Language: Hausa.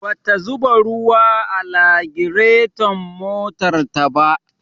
Bata zuba ruwa a lagirton motarta ba.